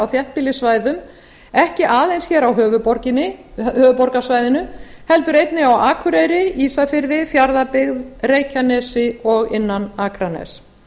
þéttbýlissvæðum ekki aðeins á höfuðborgarsvæðinu heldur einnig á akureyri ísafirði fjarðabyggð reykjanesi og innan akraness